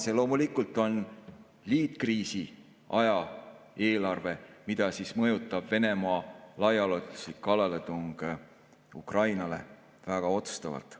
See on loomulikult liitkriisiaja eelarve, mida mõjutab Venemaa laiaulatuslik kallaletung Ukrainale väga otsustavalt.